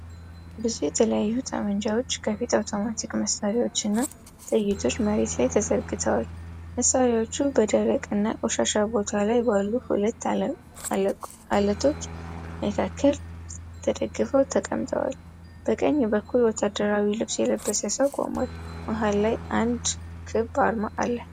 ብዙ የተለያዩ ጠመንጃዎች፣ ከፊል አውቶማቲክ መሳሪያዎች እና ጥይቶች መሬት ላይ ተዘርግተዋል። መሳሪያዎቹ በደረቅና ቆሻሻ ቦታ ላይ ባሉ ሁለት አለቶች መካከል ተደግፈው ተቀምጠዋል። በቀኝ በኩል፣ ወታደራዊ ልብስ የለበሰ ሰው ቆሟል። መሃል ላይ አንድ ክብ አርማ አለ።